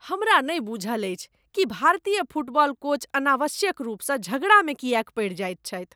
हमरा नहि बुझल अछि कि भारतीय फुटबॉल कोच अनावश्यक रूपसँ झगड़ामे किएक पड़ि जाएत छथि।